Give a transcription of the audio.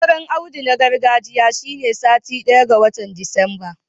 Auren Audu na gargajiya shine satin daya ga watan Disamba